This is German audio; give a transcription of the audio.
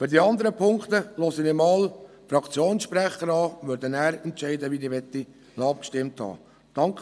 – Zu den anderen Punkten höre ich mir die Fraktionssprecher an und werde danach entscheiden, wie ich über diese abgestimmt haben möchte.